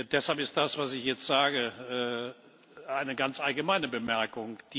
Deshalb ist das, was ich jetzt sage, eine ganz allgemeine Bemerkung.